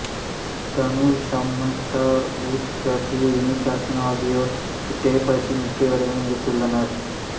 Dhanush Samantha Ruth Prabhu Amy Jackson ஆகியோர் இத்திரைப்படத்தில் முக்கிய வேடங்களில் நடித்துள்ளனர்